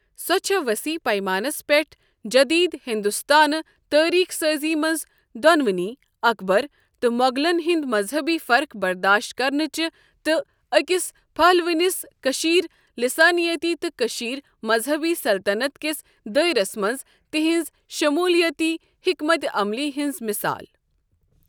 سۄ چھےٚ وصیح پیمانس پٮ۪ٹھ جٔدیٖد ہِنٛدستٲنۍ تٲریٖخ سٲزی منٛز دونونی اكبر تہٕ موغلن ہٕنٛد مزہبی فرخ برداشت كرنچہِ تہِ اكِس پھہلوٕنِس كشیر لِسٲنِیٲتی تہٕ كشیر مزہبی سلطتنت كس دٲیرس منٛز تہٕنز شموُلِیٲتی حِكمت عملی ہنٛز مِثال۔